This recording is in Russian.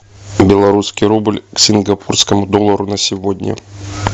белорусский рубль к сингапурскому доллару на сегодня